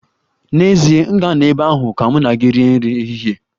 N'ezie, m ga-anọ ebe ahụ ka mụ na gị rie nri ehihie.